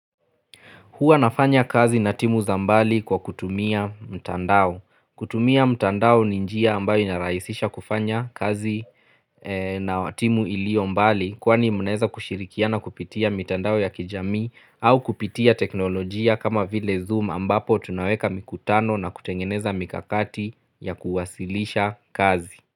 Hua nafanya kazi na timu za mbali kwa kutumia mtandao. Kutumia mtandao ni njia ambayo inaraisisha kufanya kazi na timu iliyo mbali kuwani munaweza kushirikia na kupitia mtandao ya kijami au kupitia teknolojia kama vile zoom ambapo tunaweka mikutano na kutengeneza mikakati ya kuwasilisha kazi.